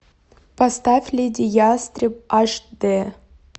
поставь леди ястреб аш дэ